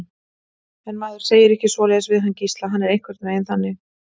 En maður segir ekki svoleiðis við hann Gísla, hann er einhvern veginn þannig.